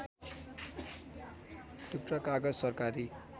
टुक्रा कागज सरकारी